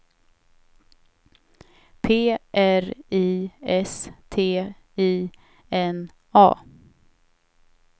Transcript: P R I S T I N A